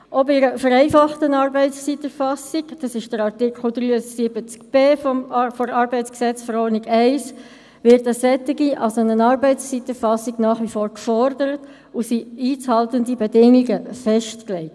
Auch bei einer vereinfachten Arbeitszeiterfassung – das betrifft Artikel 73b ArGV 1 – wird eine Arbeitszeiterfassung nach wie vor gefordert, und einzuhaltende Bedingungen sind festgelegt.